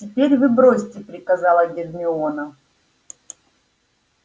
теперь вы бросайте приказала гермиона